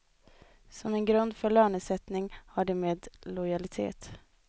Som en grund för lönesättning har de med lojalitet.